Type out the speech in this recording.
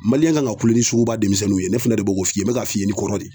kan ka kulo ni suguba denmisɛnninw ye ne fɛnɛ de b'o ko f'i ye, n bɛ ka f'i ye ni kɔrɔ de ye.